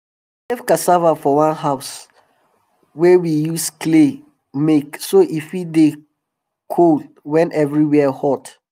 we save cassava for one house wey we use clay make so e fit dey cold cold wen everywere hot